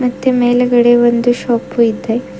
ಮತ್ತೆ ಮೇಲೆಗಡೆ ಒಂದು ಶೊಪು ಇದೆ.